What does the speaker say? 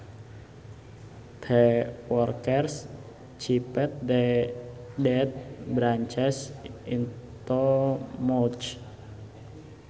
The workers chipped the dead branches into mulch